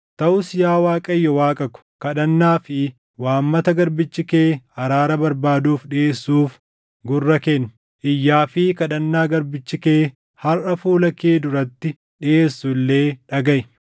Taʼus yaa Waaqayyo Waaqa ko, kadhannaa fi waammata garbichi kee araara barbaaduuf dhiʼeessuuf gurra kenni. Iyyaa fi kadhannaa garbichi kee harʼa fuula kee duratti dhiʼeessu illee dhagaʼi.